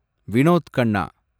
Vinod Khanna